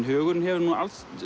hugurinn hefur nú